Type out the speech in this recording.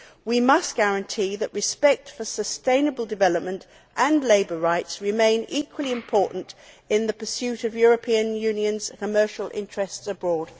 We must guarantee that respect for sustainable development and labour rights remains equally important in the pursuit of the European Union's commercial interests abroad.